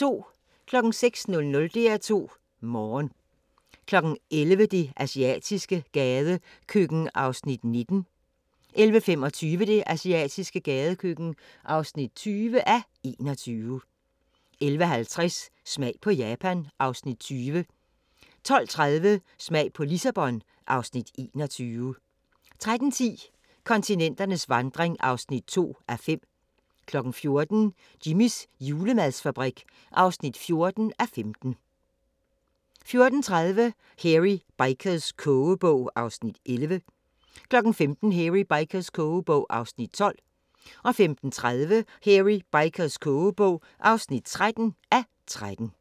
06:00: DR2 Morgen 11:00: Det asiatiske gadekøkken (19:21) 11:25: Det asiatiske gadekøkken (20:21) 11:50: Smag på Japan (Afs. 20) 12:30: Smag på Lissabon (Afs. 21) 13:10: Kontinenternes vandring (2:5) 14:00: Jimmys julemadsfabrik (14:15) 14:30: Hairy Bikers' kogebog (11:13) 15:00: Hairy Bikers' kogebog (12:13) 15:30: Hairy Bikers' kogebog (13:13)